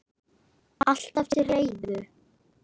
Alltaf til reiðu!